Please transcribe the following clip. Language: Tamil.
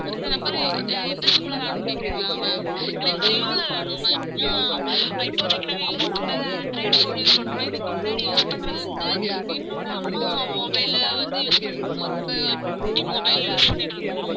இந்த number எந்த SIM ல வேணும்னு கேக்கறிங்களா ma'am எனக்கு JIO ல வேணும் ma'am ஏனா இப்போதைக்கு நாங்க use பண்றது android phone use பண்றோம் இதுக்கு முன்னாடி use பண்றது வந்து என்னோட அம்மா mobile ல வந்து use பண்ணிட்டு இருந்தோம் ரொம்ப குட்டி mobile use பண்ணிட்டு இருந்தோம்